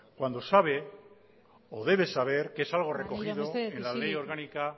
cuando sabe o debe saber que es algo recogido en la ley orgánica